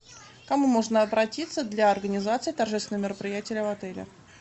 к кому можно обратиться для организации торжественного мероприятия в отеле